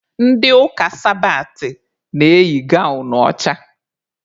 Ndị ụka sabatị na-eyi gawnụ ọcha.